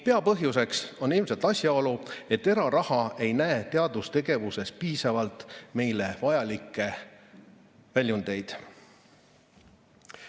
Peapõhjuseks on ilmselt asjaolu, et eraraha ei näe teadustegevuses piisavalt neile vajalikke väljundeid.